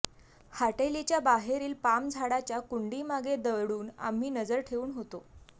हाटेलीच्या बाहेरील पाम झाडाच्या कुंडीमागे दडून आम्ही नजर ठेवून होतो